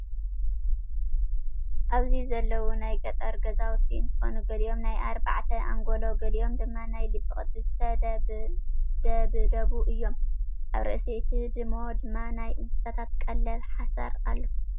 ኣብዚ ዘለው ናይ ገጠር ገዛውቲ እንትኮኑ ገሊኦም ናይ ኣርባዕተ ኣንጎሎ ገሊኦም ድማ ናይ ልቢ ቅርፂ ዝተደብደቡ እዮም። ኣብ ርእሲ እቲ ህድሞ ድማ ናይ እንስሳታት ቀለብ ሓሰረ ኣሎ።